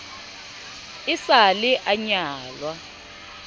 e sa le a nyalwa